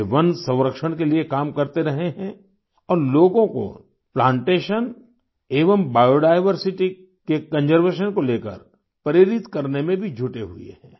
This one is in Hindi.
वे वन संरक्षण के लिए काम करते रहे हैं और लोगों को प्लांटेशन एवं बायोडायवर्सिटी के कंजर्वेशन को लेकर प्रेरित करने में भी जुटे हुए हैं